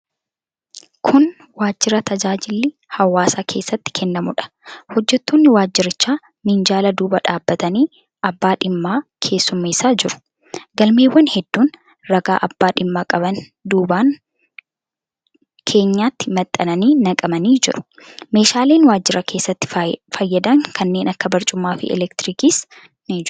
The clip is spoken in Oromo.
Kun waajjira tajaajilli hawaasaa keessatti kennamuudha. Hojjettoonni waajjirichaa minjaala duubaan dhaabbatanii abbaa dhimmaa keessummeessaa jiru. Galmeewwan hedduun ragaa abbaa dhimmaa qaban duubaan keenyatti maxxananii naqamanii jiru. Meeshaaleen waajjira keessatti fayyadan kanneen akka barcumaafi elektirikiis ni jiru.